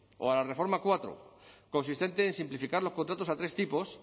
o a la reforma cuatro consistente en simplificar los contratos a tres tipos